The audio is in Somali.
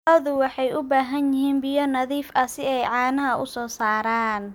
Lo'du waxay u baahan yihiin biyo nadiif ah si ay caanaha u soo saaraan.